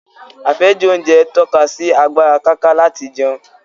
Àfẹ́jù oúnjẹ ń tọ́ka sí agbára káká láti jẹun